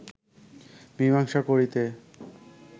মীমাংসা করিতে